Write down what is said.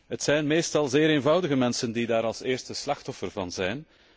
Het zijn meestal zeer eenvoudige mensen die daar het eerste slachtoffer van zijn.